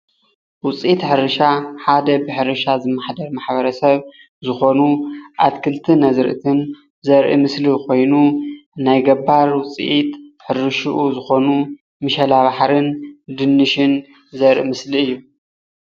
ውፅኢት ሕርሻ ሓደ ብሕርሻ ዝመሓደር ማሕበረሰብ ሓደ ዝኮኑ ኣትክልትን ኣዝርእትን ዘርኢ ምስሊ ኮይኑ ናይ ገባር ሕርሽኡ ውፅኢት ዝኮኑ ምሸላ ባሕርን ድንሽን ዘርኢ ምስሊ እዩ፡፡